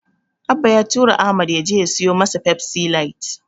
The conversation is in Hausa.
Abba ya tura Ahmad ya je ya siyo masa Pepsi light.